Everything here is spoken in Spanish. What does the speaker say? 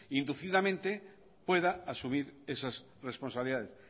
inducidamente pueda asumir esas responsabilidades